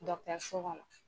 so kɔnɔ.